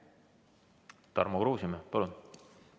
Tarmo Kruusimäe, palun!